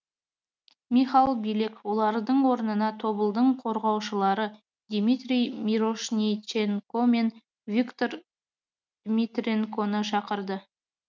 михал билек олардың орнына тобылдың қорғаушылары дмитрий мирошниченко мен виктор дмитренконы шақырды